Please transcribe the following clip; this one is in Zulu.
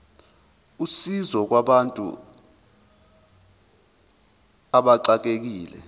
usizo kubantu abaxekekile